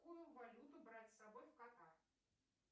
какую валюту брать с собой в катар